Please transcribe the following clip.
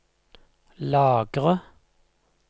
lagre